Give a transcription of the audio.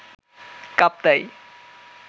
Kaptai